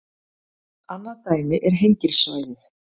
Annað dæmi er Hengilssvæðið.